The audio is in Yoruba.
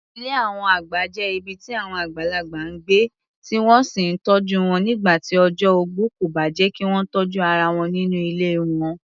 Ilé àwọn àgbà jẹ́ ibi tí àwọn àgbàlagbà ń gbé, tí wọ́n sì ń tọ́jú wọn nígbà tí ọjọ́ ogbó kò bá jẹ́ kí wọ́n tọ́jú ara wọn nínú ilé wọn.